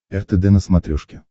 ртд на смотрешке